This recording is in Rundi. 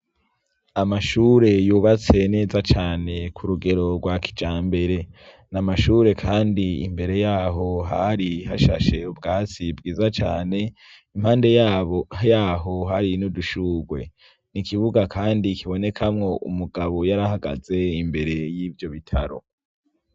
Amashure yubatse neza cane ku rugero rwa kijambere, n'amashure kandi imbere yaho hari hashashe ubwatsi bwiza cane impande yaho hari n'udushurwe, n'ikibuga kandi kibonekamwo umugabo yar'ahagaze imbere y'ivyo bitaro.